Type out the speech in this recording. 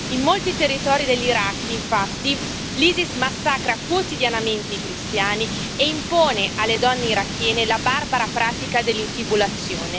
In molti territori dell'Iraq, infatti, l'Isis massacra quotidianamente i cristiani e impone alle donne irachene la barbara pratica dell'infibulazione.